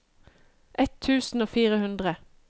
ett tusen og fire hundre